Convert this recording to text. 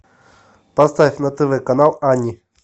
поставь на тв канал ани